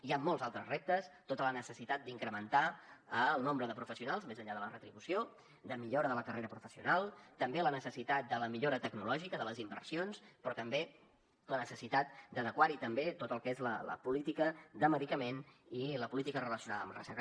hi han molts altres reptes tota la necessitat d’incrementar el nombre de professionals més enllà de la retribució de millora de la carrera professional també la necessitat de la millora tecnològica de les inversions però també la necessitat d’adequar hi també tot el que és la política de medicament i la política relacionada amb la recerca